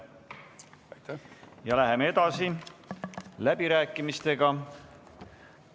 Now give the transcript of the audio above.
Läheme edasi läbirääkimistega.